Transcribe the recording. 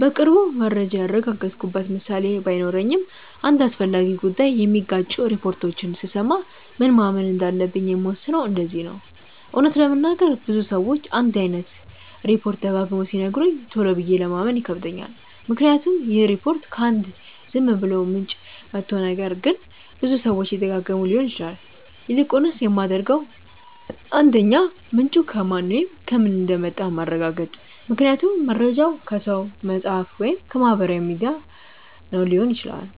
በቅርቡ መረጃ ያረጋገጥኩበት ምሳሌ ባይኖረኝም አንድ አስፈላጊ ጉዳይ የሚጋጩ ሪፖርቶችን ስሰማ ምን ማመን እንዳለብኝ የምወስነው እንደዚህ ነው :- እውነት ለመናገር ብዙ ሰዎች አንድ አይነት ሪፖችት ደጋግመው ሲነግሩኝ ቶሎ ብዬ ለማመን ይከብደኛል ምክንያቱም ይህ ሪፖርት ከ አንድ ዝም ብሎ ምንጭ መቶ ነገር ግን ብዙ ሰዎች እየደጋገመው ሊሆን ይችላል። ይልቁንስ የማደርገው 1. ምንጩ ከማን ወይም ከምን እንደመጣ ማረጋገጥ ምክንያቱም መርጃው ከሰው፣ መፅሐፍ ወይም ከማህበራዊ ሚዲያ ነው ሊሆን ይችላል።